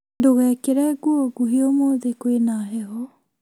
ndũgekĩre nguo nguhĩ ũmũthĩ kwĩna heho